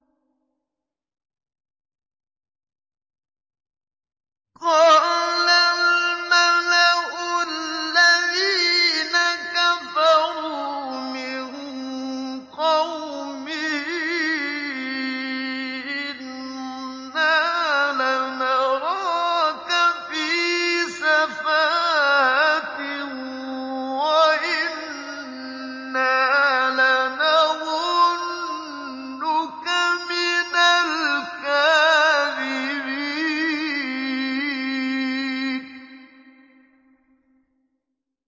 قَالَ الْمَلَأُ الَّذِينَ كَفَرُوا مِن قَوْمِهِ إِنَّا لَنَرَاكَ فِي سَفَاهَةٍ وَإِنَّا لَنَظُنُّكَ مِنَ الْكَاذِبِينَ